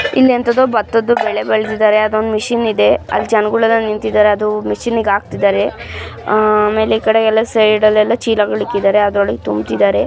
ಇಲ್ಲಿ ಎಂತದೋ ಬತ್ತದು ಬೆಳೆ ಬೆಳೆದಿದ್ದಾರೆ ಅಲ್ಲೊಂದು ಮಷೀನ್ ಇದೆ ಅಲ್ಲಿ ಜನಗಳೆಲ್ಲ ನಿಂತಿದಾರೆ ಅದು ಮಷೀನ್ ನಾಕ್ ಹಾಕ್ತಿದ್ದಾರೆ ಚೀಲಗಲ್ಲ ಇಡ್ತಿದಾರೆ ಆಡೋರಗೆ ತುಂಬುತಿದಾರೆ .